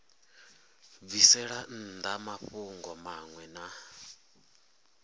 bvisela nnḓa mafhungo maṅwe na